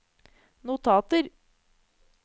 notater